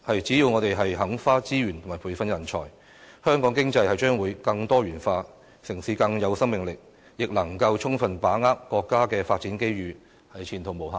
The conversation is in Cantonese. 只要我們肯花資源培訓人才，香港經濟將會更多元化，城市更有生命力，亦能夠充分把握國家的發展機遇，前途無限。